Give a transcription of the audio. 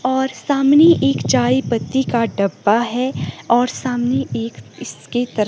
और सामने एक चायपत्ती का डब्बा है और सामने एक इसके तर--